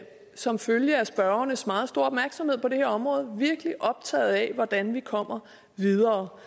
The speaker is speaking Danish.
som følge af spørgernes meget store opmærksomhed på det område virkelig optaget af hvordan vi kommer videre